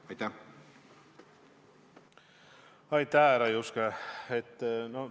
Aitäh, härra Juske!